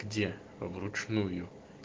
где в ручную